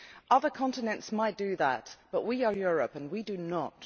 Other continents might do that, but we are Europe and we do not.